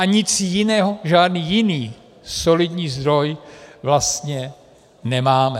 A nic jiného, žádný jiný solidní zdroj vlastně nemáme.